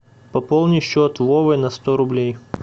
пополни счет вовы на сто рублей